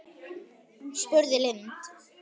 spurði Lind.